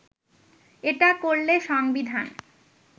এটা করলে সংবিধান